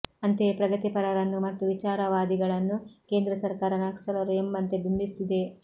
ಅಂತೆಯೇ ಪ್ರಗತಿಪರರನ್ನು ಮತ್ತು ವಿಚಾರವಾದಿಗಳನ್ನು ಕೇಂದ್ರ ಸರ್ಕಾರ ನಕ್ಸಲರು ಎಂಬಂತೆ ಬಿಂಬಿಸುತ್ತಿದೆ